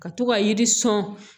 Ka to ka yiri sɔn